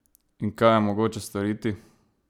In kaj je mogoče storiti?